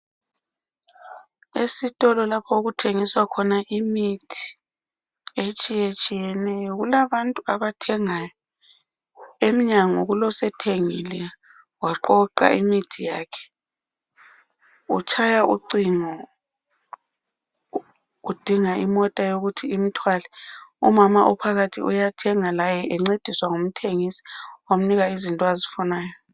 Esitholo lapho okuthengiswa khona imithi etshiyetshiyeneyo. Kulabantu abathengayo emnyango kulosethengile waqoqa imithi yakhe. Utshaya ucingo. Udinga imota eyokuthi imthwale. Umama ophakhathi uyathenga laye encediswa ngumthengisa wamnika izinto azifunayo.